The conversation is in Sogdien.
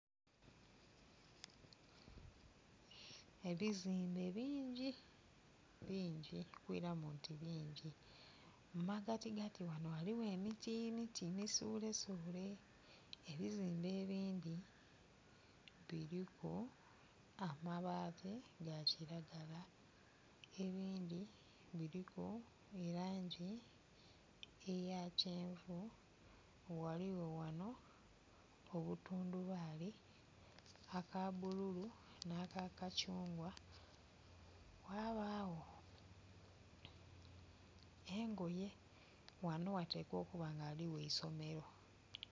Ebizimbe bingi, bingi okwiramu nti bingi mu magatigati ghano ghaligho emiti miti misulesule ebizimbe ebindhi biriku amabati ga kiragala ebindhi biriku langi eya kyenvu. Ghaligho ghano obutundubali akabululu, na ka kakyungwa ghabagho engoye, ghano ghatekwa okuba nga ghaligho eisomero.